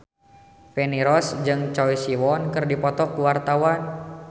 Feni Rose jeung Choi Siwon keur dipoto ku wartawan